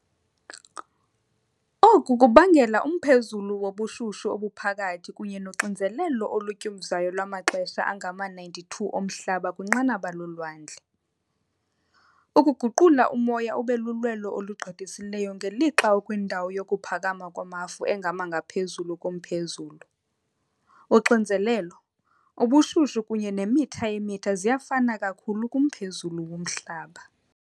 Oku kubangela umphezulu wobushushu obuphakathi kwe kunye noxinzelelo olutyumzayo lwamaxesha angama-92 oMhlaba kwinqanaba lolwandle, ukuguqula umoya ube lulwelo olugqithisileyo, ngelixa ukwindawo yokuphakama kwamafu engama . ngaphezulu komphezulu, uxinzelelo, ubushushu kunye nemitha yemitha ziyafana kakhulu kumphezulu woMhlaba.